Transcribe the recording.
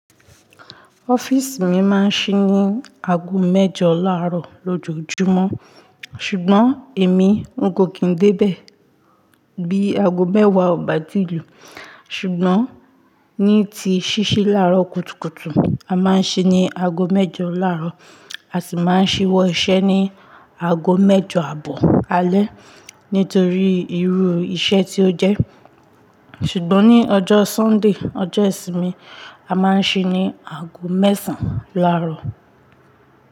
Office mi máa ń ṣí ní ago mẹ́jọ láàárọ̀ lójoojúmọ́, ṣùgbọ́n èmi ń kòkìn dé bẹ̀ bí ago mẹ́wàá ò bá tiìlù. Ṣùgbọ́n ní ti ṣíṣí láàárọ̀ kùtùkùtù, a máa ń ṣí ní ago mẹ́jọ láàárọ̀, a sì máa ń ṣíwọ́ iṣẹ́ ní ago mẹ́jọ àbọ̀ alẹ́ nítorí irú iṣẹ́ tí ó jẹ́. Ṣùgbọ́n ní ọjọ́ Sunday, ọjọ́ ìsinmi, a máa ń ṣí ní ago mẹ́sàn-án láàárọ̀.